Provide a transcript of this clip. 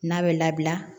N'a bɛ labila